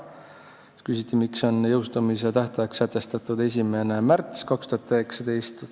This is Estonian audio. Siis küsiti, miks on jõustumise tähtajaks sätestatud 1. märts 2019.